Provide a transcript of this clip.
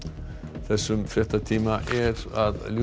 þessum fréttatíma er að ljúka